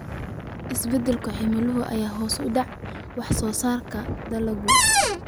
Isbeddelka cimilada ayaa hoos u dhigay wax soo saarka dalagga.